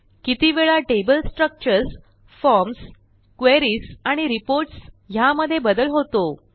किती वेळा table structures forms queries आणि रिपोर्ट्स ह्यामध्ये बदल होतो